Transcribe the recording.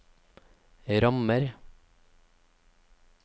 rammer